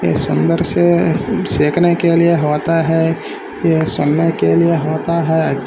सुंदर से सेखने के लिए होता है ये समय के लिए होता है। अच् --